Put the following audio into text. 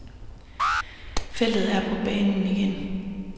Feltet er på banen igen.